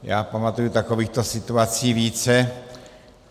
Já pamatuji takovýchto situací více.